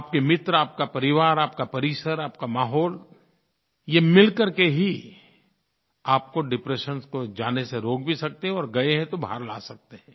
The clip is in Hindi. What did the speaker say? आपके मित्र आपका परिवार आपका परिसर आपका माहौल ये मिलकर के ही आपको डिप्रेशन में जाने से रोक भी सकते हैं और गए हैं तो बाहर ला सकते हैं